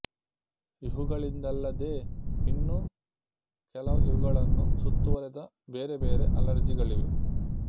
ಇವುಗಳಿಂದಲ್ಲದೇ ಇನ್ನು ಕೆಲವು ಇವುಗಳನ್ನು ಸುತ್ತುವರೆದ ಬೇರೆ ಬೇರೆ ಅಲರ್ಜಿಗಳಿವೆ